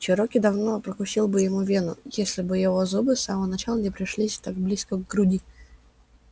чероки давно прокусил бы ему вену если бы его зубы с самого начала не пришлись так близко к груди